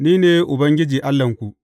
Ni ne Ubangiji Allahnku.